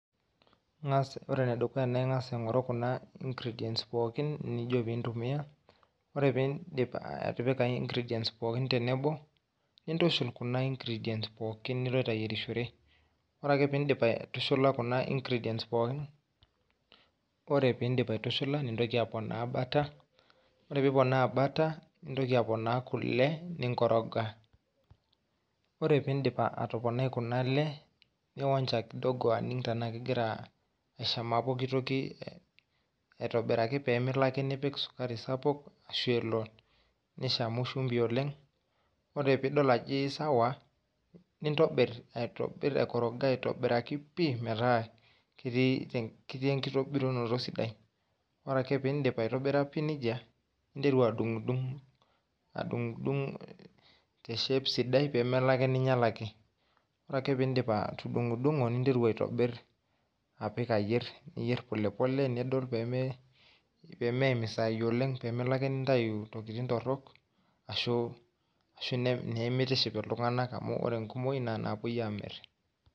Ingas, ore ene dukuya naa ingas aingoru kuna ingredients pookin nijo pintumia .Ore pindip atipika ingredients pookin tenebo, nintushul kuna ingredients pookin niloito ayierishore. Ore ake pindip aitushula kuna ingredients pookin , ore pindip aitushula nintoki aponaa butter , ore piponaa butter nintoki aponiki kule , ninkoroga. Ore piindip atoponai kuna ale , nionja kidogo aning tenaa kegira aishamaa pooki toki aitobiraki pemilo ake nipik sukari sapuk ashu elo nishamu shumbi oleng. Ore piidol ajo isawa nintobir, aitobir, aikoroga aitobiraki pi metaa ketii enkitobirunoto sidai. Ore ake pindip aitobira pi nejia , ninteru adungdung , adungdung te shape sidai pemelo ake ninyialaki . Ore ake pindip atudungduno , ninteru aitobir , apik ayier, niyier pole pole , nidol pemeim isaai oleng , pemelo ake nintayu intokitin torok ashu, ashu nemitiship iltunganak amu ore inkumoi naa inapuo amir.